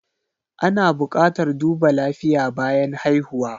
Ana buƙatar duba lafiya bayan haihuwa.